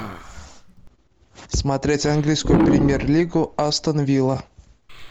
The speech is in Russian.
смотреть английскую премьер лигу астон вилла